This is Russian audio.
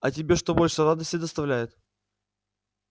а тебе что больше радости доставляет